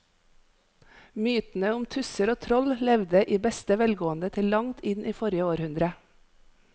Mytene om tusser og troll levde i beste velgående til langt inn i forrige århundre.